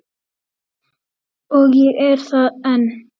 Og ég er það enn